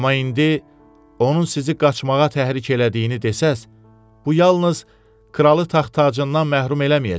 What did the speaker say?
Amma indi onun sizi qaçmağa təhrik elədiyini desəz, bu yalnız kralı taxt-tacından məhrum eləməyəcək.